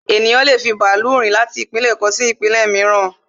Ènìyàn lé è fi bàálù rin irin-àjò láti ìpínlẹ̀ kan sí ìpínlẹ̀ mìíràn